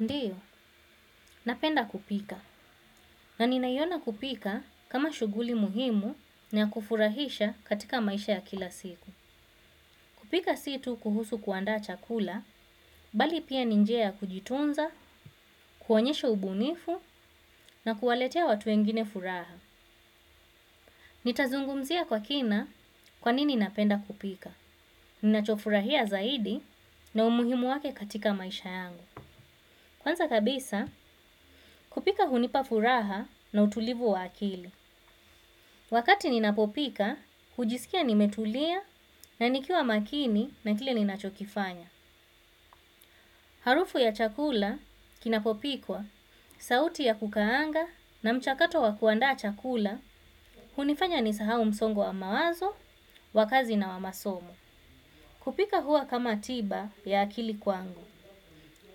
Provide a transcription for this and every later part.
Ndiyo, napenda kupika. Na ninaiona kupika kama shughuli muhimu na ya kufurahisha katika maisha ya kila siku. Kupika si tu kuhusu kuandaa chakula, bali pia ni njia ya kujitunza, kuonyesha ubunifu na kuwaletea watu wengine furaha. Nitazungumzia kwa kina kwanini napenda kupika. Ninachofurahia zaidi na umuhimu wake katika maisha yangu. Kwanza kabisa, kupika hunipa furaha na utulivu wa akili. Wakati ninapopika, hujisikia nimetulia na nikiwa makini na kile ninachokifanya. Harufu ya chakula kinapopikwa, sauti ya kukaanga na mchakato wa kuandaa chakula, hunifanya nisahau msongo wa mawazo, wa kazi na wa masomo. Kupika huwa kama tiba ya akili kwangu.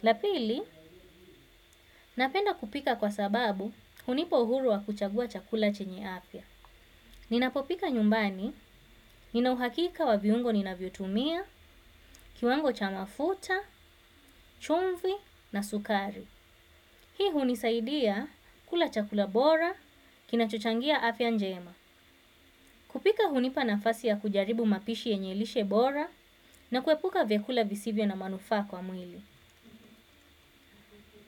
La pili, napenda kupika kwa sababu hunipa uhuru wa kuchagua chakula chenye afya. Ninapopika nyumbani, nina uhakika wa viungo ninavyotumia, kiwango cha mafuta, chumvi na sukari. Hii hunisaidia kula chakula bora, kinachochangia afya njema. Kupika hunipa nafasi ya kujaribu mapishi yenye lishe bora na kuepuka vyakula visivyo na manufaa kwa mwili.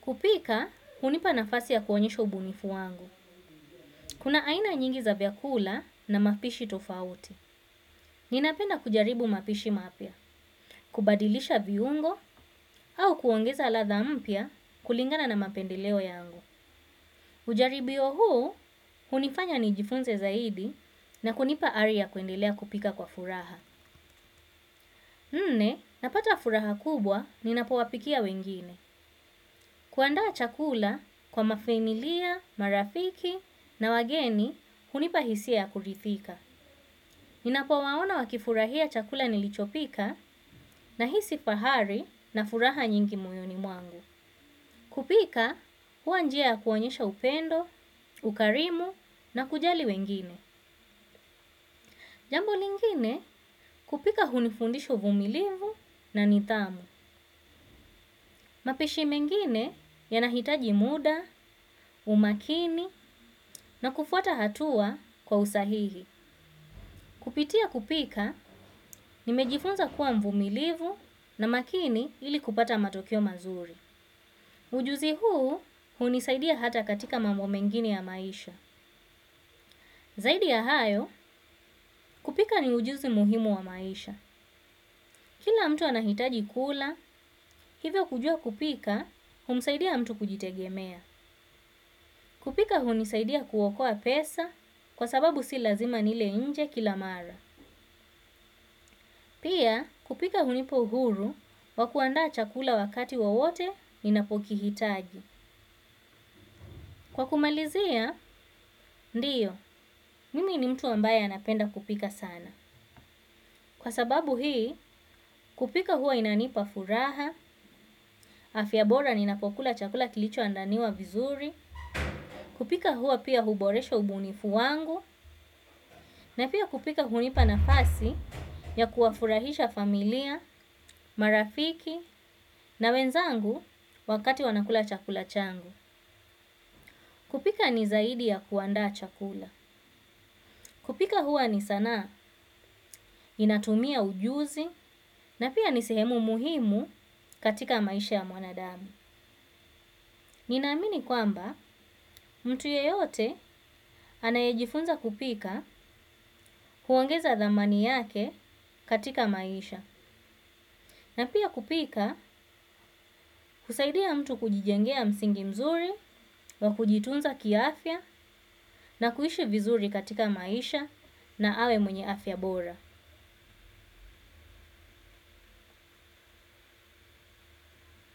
Kupika hunipa nafasi ya kuonyesha ubunifu wangu. Kuna aina nyingi za vyakula na mapishi tofauti. Ninapenda kujaribu mapishi mapya. Kubadilisha viungo au kuongeza ladha mpya kulingana na mapendeleo yangu. Ujaribio huu hunifanya nijifunze zaidi na kunipa ari ya kuendelea kupika kwa furaha. Nne, napata furaha kubwa ninapowapikia wengine. Kuandaa chakula kwa mafamilia, marafiki na wageni, hunipa hisia ya kuridhika ninapowaona wakifurahia chakula nilichopika nahisi fahari na furaha nyingi moyoni mwangu. Kupika huwa njia ya kuonyesha upendo, ukarimu na kujali wengine. Jambo lingine kupika hunifundisha uvumilivu na nidhamu. Mapishi mengine yanahitaji muda, umakini na kufuata hatua kwa usahihi. Kupitia kupika nimejifunza kuwa mvumilivu na makini ili kupata matokeo mazuri. Ujuzi huu hunisaidia hata katika mambo mengine ya maisha. Zaidi ya hayo, kupika ni ujuzi muhimu wa maisha. Kila mtu anahitaji kula, hivyo kujua kupika humsaidia mtu kujitegemea. Kupika hunisaidia kuokoa pesa, kwa sababu si lazima nile nje kila mara. Pia kupika hunipa uhuru wa kuandaa chakula wakati wowote ninapokihitaji. Kwa kumalizia, ndiyo, mimi ni mtu ambaye anapenda kupika sana. Kwa sababu hii, kupika huwa inanipa furaha, afya bora ninapokula chakula kilichoandaliwa vizuri, kupika huwa pia huboresha ubunifu wangu, na pia kupika hunipa nafasi ya kuwafurahisha familia, marafiki, na wenzangu wakati wanakula chakula changu. Kupika ni zaidi ya kuandaa chakula. Kupika huwa ni sanaa, inatumia ujuzi na pia ni sehemu muhimu katika maisha ya mwanadamu. Ninaamini kwamba mtu yeyote anayejifunza kupika huongeza thamani yake katika maisha. Na pia kupika husaidia mtu kujijengea msingi mzuri wa kujitunza kiafya na kuishi vizuri katika maisha na awe mwenye afya bora.